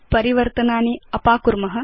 परिवर्तनानि अपाकुर्म